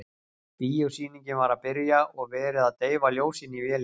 Bíósýningin var að byrja og verið að deyfa ljósin í vélinni.